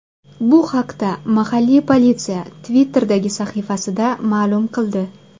Bu haqda mahalliy politsiya Twitter’dagi sahifasida ma’lum qildi .